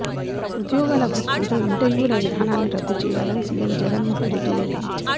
ఉద్యోగాల భర్తీలో ఇంటర్వ్యూల విధానాన్ని రద్దుచేయాలని సీఎం జగన్ మోహన్ రెడ్డి నిర్ణయించారు